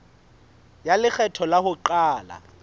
ya lekgetho la ho qala